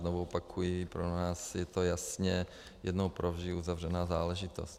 Znovu opakuji, pro nás je to jasně jednou provždy uzavřená záležitost.